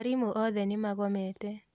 Arimũ othe nimagomete